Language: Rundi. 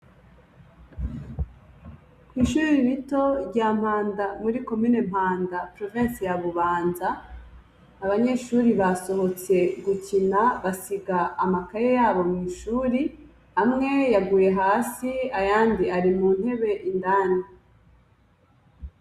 Kw'ishuri rito rya mpanda muri komine mpanda porovensi ya Bubanza abanyeshure basohotse gukina basiga amakaye yabo mw'ishuri. Amwe yaguye hasi ayandi ari muntebe indani.